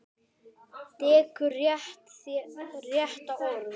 Dekur væri rétta orðið.